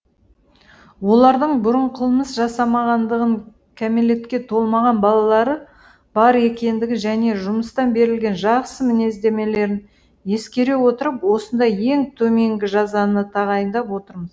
олардың бұрын қылмыс жасамағандығын кәмелетке толмаған балалары бар екендігі және жұмыстан берілген жақсы мінездемелерін ескере отырып осындай ең төменгі жазаны тағайындап отырмыз